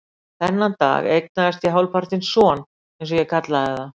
Þennan dag eignaðist ég hálfpartinn son, eins og ég kallaði það.